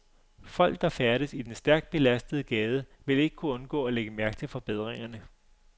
Folk, der færdes i den stærkt belastede gade, vil ikke kunne undgå at lægge mærke til forbedringerne.